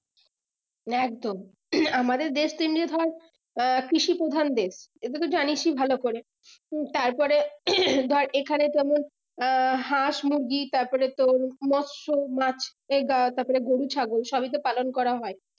একদম আমাদের দেশ কে নিয়ে ধর কৃষি প্রধান দেশ এটা তো জানিসই ভালো করে উম তারপরে ধর এইখানে কোনো হাঁস মুরগি তারপরে তোর মৎস্য মাছ এইদ্বারা তারপরে গরু ছাগল সবই তো পালন করা হয়